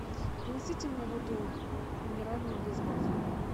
принесите мне воду минеральную без газа